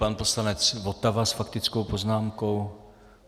Pan poslanec Votava s faktickou poznámkou.